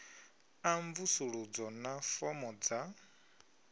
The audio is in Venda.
a mvusuludzo na fomo dza